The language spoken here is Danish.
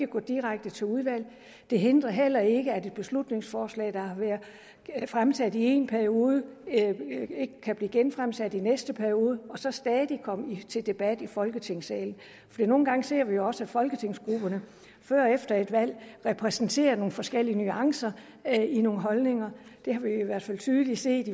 går direkte til udvalget det hindrer heller ikke at et beslutningsforslag der har været fremsat i én periode kan blive genfremsat i den næste periode og så stadig komme til debat i folketingssalen for nogle gange ser vi jo også at folketingsgrupperne før og efter et valg repræsenterer nogle forskellige nuancer i nogle holdninger det har vi i hvert fald tydeligt set